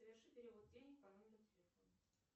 соверши перевод денег по номеру телефона